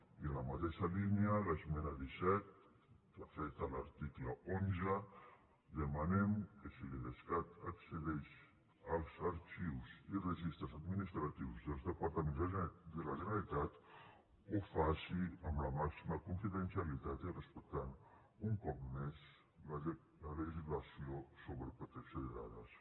i en la mateixa línia l’esmena disset que afecta l’article onze demanem que si l’idescat accedeix als arxius i registres administratius dels departaments de la generalitat ho faci amb la màxima confidencialitat i respectant un cop més la legislació sobre la protecció de dades